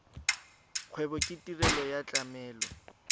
kgwebo ke tirelo ya tlamelo